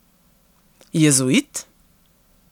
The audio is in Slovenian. Jezuit?